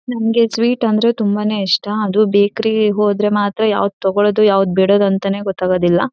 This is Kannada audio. ನಮಗೆ ಸ್ವೀಟ್ ಅಂದ್ರೆ ತುಂಬಾನೇ ಇಷ್ಟ ಅದು ಬೇಕರಿ ಹೋದ್ರೆ ಮಾತ್ರ ಯಾವದು ತೋಕೋಳುದು ಯಾವದು ಬಿಡೋದು ಅಂತಾನೇ ಗೊತ್ತಾಗುದಿಲ್ಲಾ.